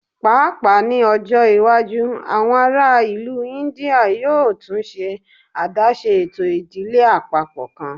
Paapaa ni ọjọ iwaju awọn ara ilu India yoo tun ṣe adaṣe eto idile apapọ kan